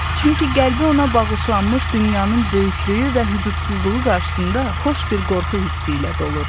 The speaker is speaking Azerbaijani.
Çünki qəlbi ona bağışlanmış dünyanın böyüklüyü və hüdudsuzluğu qarşısında xoş bir qorxu hissi ilə dolurdu.